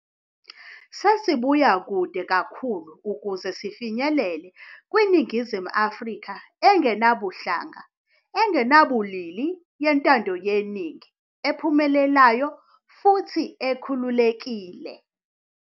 Sesibuya kude kakhulu ukuze sifinyelele kwiNingizimu Afrika engenabuhlanga, engenabulili, yentando yeningi, ephumelelayo futhi ekhululekile.